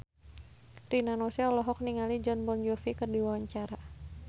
Rina Nose olohok ningali Jon Bon Jovi keur diwawancara